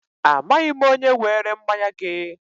Amaghị m onye were mmanya gị.